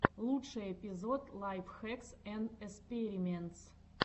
лучший эпизод лайф хэкс энд эспериментс